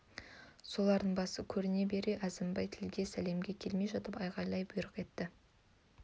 солардың басы көріне бере әзімбай тілге сәлемге келмей жатып айғайлап бұйрық етті